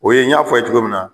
O ye n y'a fɔ a ye cogo min na